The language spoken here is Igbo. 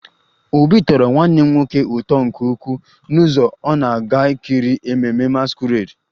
Obi tọrọ nwanne m nwoke ụtọ nke ukwuu n'ụzọ ọ na-aga ikiri ememme masquerade